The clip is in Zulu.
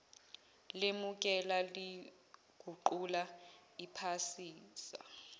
lemukela liguqula liphasisa